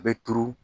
A bɛ turu